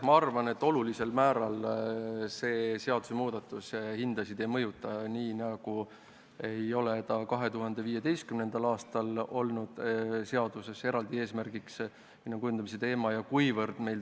Ma arvan, et see seadusemuudatus hindasid olulisel määral ei mõjuta, nii nagu ei olnud ka 2015. aastal hinna kujundamine seaduses eraldi eesmärgiks.